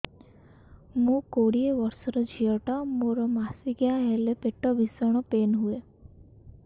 ମୁ କୋଡ଼ିଏ ବର୍ଷର ଝିଅ ଟା ମୋର ମାସିକିଆ ହେଲେ ପେଟ ଭୀଷଣ ପେନ ହୁଏ